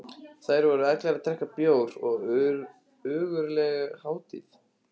Þar voru allir að drekka bjór og ógurleg hátíð.